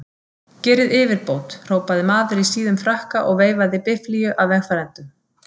Gerið yfirbót! hrópaði maður í síðum frakka og veifaði biflíu að vegfarendum.